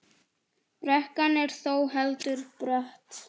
Brekkan er þó heldur brött.